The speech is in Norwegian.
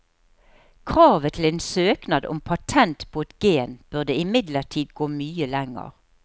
Kravet til en søknad om patent på et gen burde imidlertid gå mye lenger.